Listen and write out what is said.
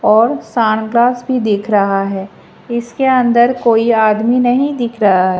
और सनग्लास भी दिख रहा है इसके अंदर कोई आदमी नहीं दिख रहा--